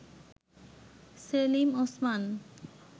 Selim Osman